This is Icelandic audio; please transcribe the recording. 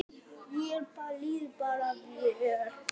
Já, mér líður bara vel.